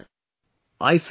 Thank you so much Sir